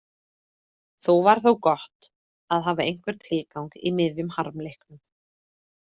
Það var þó gott að hafa einhvern tilgang í miðjum harmleiknum.